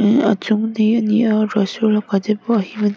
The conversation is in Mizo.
eh a chung di ani a ruah sur lakah te pawh a him ani--